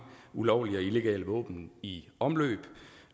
ulovlige våben i omløb